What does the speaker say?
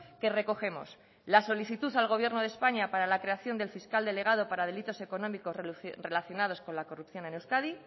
que recogemos la solicitud al gobierno de españa para la creación del fiscal delegado para delitos económicos relacionados con la corrupción en euskadi